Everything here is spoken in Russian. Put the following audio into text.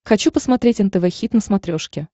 хочу посмотреть нтв хит на смотрешке